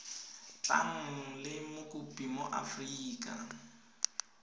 tlang le mokopi mo aforika